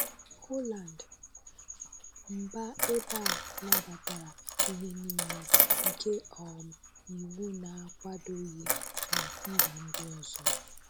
Holland - mba ebe a nabatara ihe nile, nke um iwu na-akwadoghị na mba ndị ọzọ